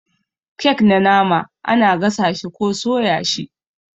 kek na nama ana gasa shi ko soya shi ne.